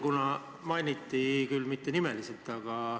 Aitäh!